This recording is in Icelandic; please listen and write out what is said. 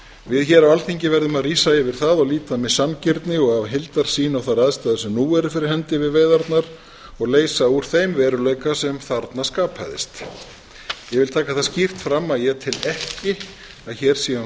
við hér á alþingi verðum að rísa yfir það og líta með sanngirni og af heildarsýn á þær aðstæður sem nú eru fyrir hendi við veiðarnar og leysa úr þeim veruleika sem þarna skapaðist ég vil taka það skýrt fram að ég tel ekki að hér sé um